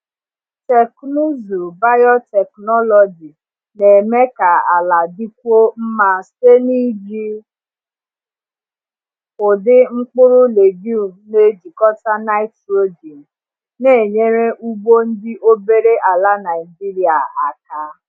Teknụzụ biotechnology na-eme ka ala dịkwuo mma site n’iji ụdị mkpụrụ legume na-ejikọta nitrogen, na-enyere ugbo ndị obere ala Naijiria aka.